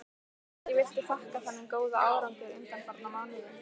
Hverju viltu þakka þennan góða árangur undanfarna mánuði?